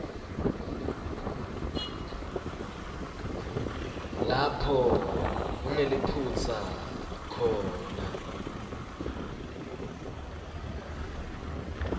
lapho kuneliphutsa khona